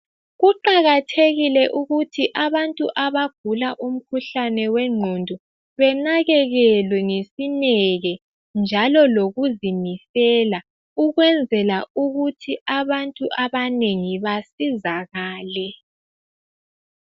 Kuqakathekile ukuthi abantu abagula umkhuhlane wengqondo benakelelwe ngesineke njalo nokuzimisela, kwenzela ukuthi abantu abanengi basizakale.